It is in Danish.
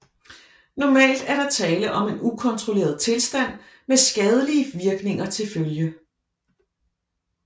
Normalt er der tale om en ukontrolleret tilstand med skadelige virkninger til følge